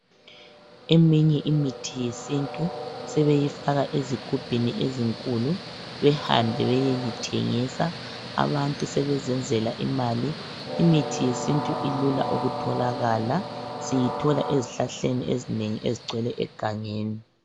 Eminye imithi yesintu sebeyifaka ezigubhini ezinkulu behambe beyeyithengisa . Abantu sebezenzela imali . Imithi yesintu ilula ukutholakala, siyithola ezihlahleni ezinengi ezigcwele egangeni.